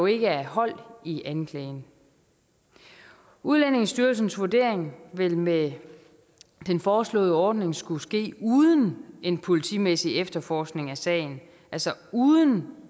ikke er hold i anklagen udlændingestyrelsens vurdering ville med den foreslåede ordning skulle ske uden en politimæssig efterforskning af sagen altså uden